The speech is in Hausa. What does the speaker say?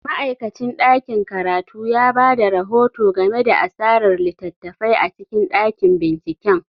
Ma'aikacin ɗakin karatu ya ba da rahoto game da asarar littattafai a cikin ɗakin binciken.